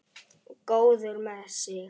Góður með sig.